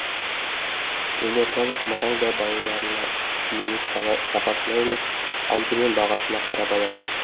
елордалық марал да балаларына киімді сапасына емес алдымен бағасына қарап алады